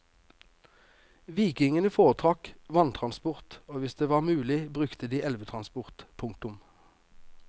Vikingene foretrakk vanntransport og hvis det var mulig brukte de elvetransport. punktum